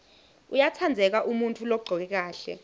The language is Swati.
uyatsandzeka umuntfu logcoke kahle